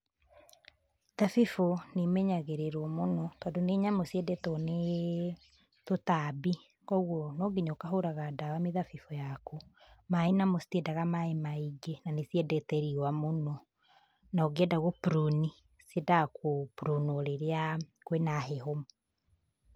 Thabibũ nĩ imenyagĩrĩrwo mũno, tondũ nĩ nyamũ ciedetwo nĩ tũtambi, kwoguo no nginya ũkahũraga ndawa mĩthabibũ yaku. Maĩ namo citiendaga maĩ maingĩ na nĩciendete riuwa mũno. Na ũngĩenda gũ prune ni, ciendaga gũ prune nwo rĩrĩa kwina heho.